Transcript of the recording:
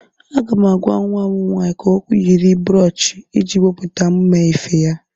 Aga m agwa nwa m nwaanyị ka o yiri broochi iji wepụta mma efe a.